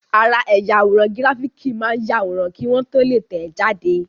Ara ẹ̀yà àwòrán gíráfìkì máa ń yàwòrán kí wọ́n tó lè tẹ̀ẹ́ jáde